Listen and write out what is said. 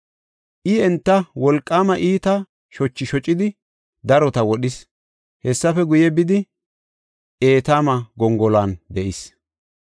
I enta wolqaama iita shochi shocidi darota wodhis. Hessafe guye bidi, Etaama gongoluwan de7is.